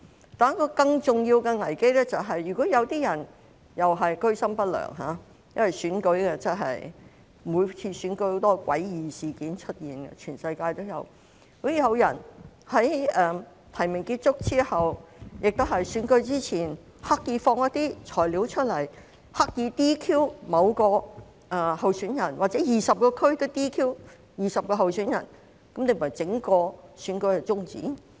可是，一個更重要的危機是，如果有人居心不良——因為每次選舉也有很多詭異事件出現，全世界也有——如果有人在提名結束後或選舉前，刻意放出一些"材料"，企圖使某名候選人被 "DQ"， 甚至導致20名候選人在各區被 "DQ"， 整個選舉豈非要終止？